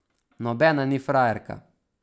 Nobena ni frajerka.